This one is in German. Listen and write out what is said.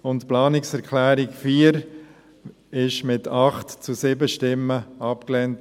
Die Planungserklärung 4 wurde mit 8 zu 7 Stimmen abgelehnt.